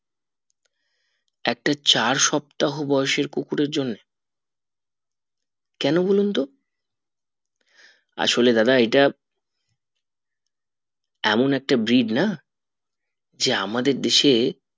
একটা চার সপ্তাহ বয়েস এর কুকুর এর জন্যে কেন বলুন তো আসলে দাদা এটা এমন একটা breed না যে আমাদের দেশে